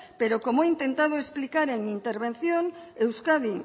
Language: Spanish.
pero como he intentado explicar en intervención euskadi